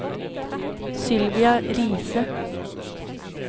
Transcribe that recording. Sylvia Riise